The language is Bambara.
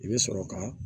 I bɛ sɔrɔ ka